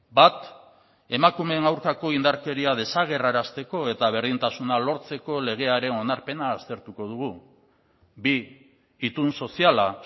bat emakumeen aurkako indarkeria desagerrarazteko eta berdintasuna lortzeko legearen onarpena aztertuko dugu bi itun soziala